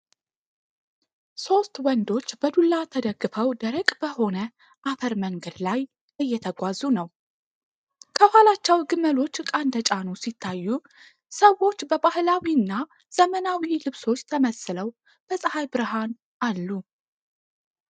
ሦስት ወንዶች በዱላ ተደግፈው ደረቅ በሆነ አፈር መንገድ ላይ እየተጓዙ ነው። ከኋላቸው ግመሎች ዕቃ እንደጫኑ ሲታዩ፣ ሰዎች በባህላዊና ዘመናዊ ልብሶች ተመስለው በፀሐይ ብርሃን አሉ።